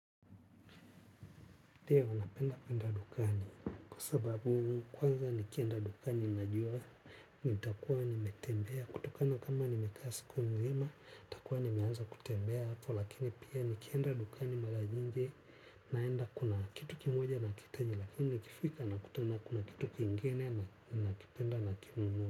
Ndefu, napenda penda dukani, kwa sababu kwanza nikienda dukani najua, nitakuwa nimetembea, kutokana kama nimekaa siku nzima, nitakuwa nimeanza kutembea hapo, lakini pia nikienda dukani mara nyingi, naenda kuna kitu kimoja nakihitaji, lakini nikifika nakutana kuna kitu kingine nakipenda na.